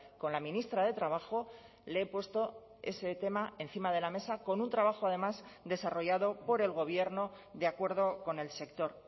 con la ministra de trabajo le he puesto ese tema encima de la mesa con un trabajo además desarrollado por el gobierno de acuerdo con el sector